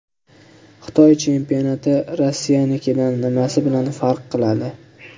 Xitoy chempionati Rossiyanikidan nimasi bilan farq qiladi?